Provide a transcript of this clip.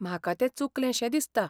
म्हाका तें चुकलेंशें दिसता